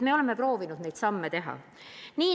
Me oleme proovinud neid samme astuda.